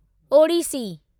Odissi